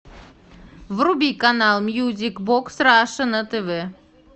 вруби канал мьюзик бокс раша на тв